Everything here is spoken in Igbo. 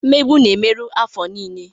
Mmegbu na-emerụ afọ niile.